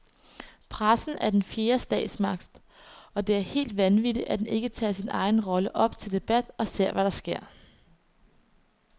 Pressen er den fjerde statsmagt, og det er helt vanvittigt, at den ikke tager sin egen rolle op til debat og ser, hvad der sker.